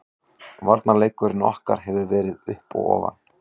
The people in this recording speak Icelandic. Varnarleikur okkar hefur verið upp og ofan.